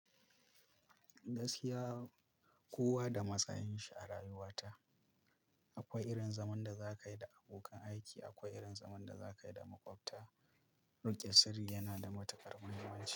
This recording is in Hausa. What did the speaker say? Gaskiya kowa da matsayinsa a rayuwarta. Akwai irin zaman da za ka yi da abokan aiki, akwai irin zaman da za ka yi da maƙwabta. Riƙe sirri yana da matuƙar mahimmanci.